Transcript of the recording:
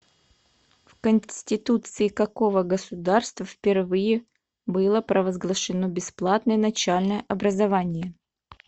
в конституции какого государства впервые было провозглашено бесплатное начальное образование